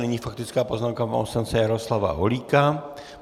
Nyní faktická poznámka pana poslance Jaroslava Holíka.